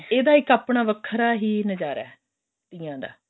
ਇਹਦਾ ਇੱਕ ਆਪਣਾ ਵੱਖਰਾ ਹੀ ਨਜ਼ਾਰਾ ਹੈ ਤੀਆਂ ਦਾ